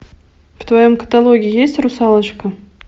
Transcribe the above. в твоем каталоге есть русалочка